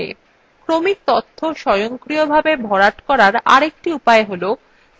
ক্রমিক তথ্য স্বয়ংক্রিয়ভাবে ভরার আরেকটি উপায় হল